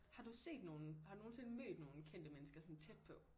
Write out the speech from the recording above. Har du set nogen har du nogensinde mødt nogen kendte mennesker sådan tæt på